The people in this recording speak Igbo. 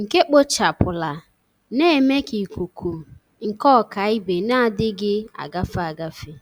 nke kpochapụla, na-eme ka ikuku nke ọkaibe na-adịghị agafe agafe